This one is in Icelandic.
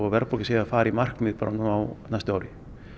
verðbólga fari í markmið bara á næsta ári